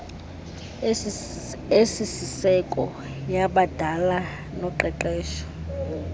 esisiseko yabadala noqeqesho